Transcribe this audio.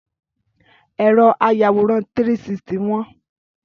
Ẹ̀rọ ayàwòrán 360 wọ́n